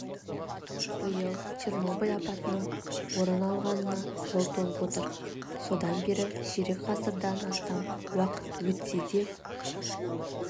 биыл чернобыль апатының орын алғанына жыл толып отыр содан бері ширек ғасырдан астам уақыт өтсе де